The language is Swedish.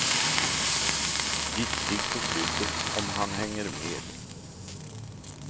Giftig på slutet om han hänger med.